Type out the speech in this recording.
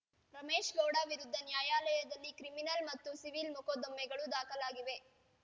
ರಮೇಶ್‌ಗೌಡ ವಿರುದ್ಧ ನ್ಯಾಯಾಲಯದಲ್ಲಿ ಕ್ರಿಮಿನಲ್‌ ಮತ್ತು ಸಿವಿಲ್‌ ಮೊಕದ್ದಮೆಗಳು ದಾಖಲಾಗಿವೆ